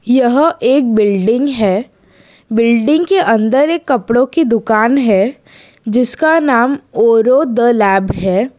यह एक बिल्डिंग है बिल्डिंग के अंदर एक कपड़ों की दुकान है जिसका नाम ओरों द लैब है।